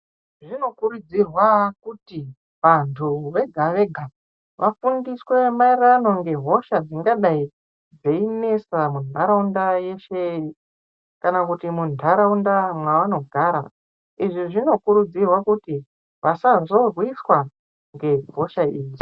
Zvinokurudzirwa kuti vantu vega vega vafundiswe maererano ngehosha dzingadai dzeinesa mundaraunda yeshe kana kuti mundaraunda mavanogara izvi zvinokuridzirwa kuti vasazorwiswa ngehosha idzi.